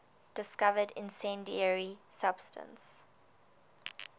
discovered incendiary substance